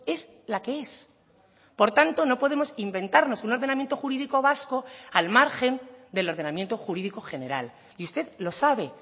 es la que es por tanto no podemos inventarnos un ordenamiento jurídico vasco al margen del ordenamiento jurídico general y usted lo sabe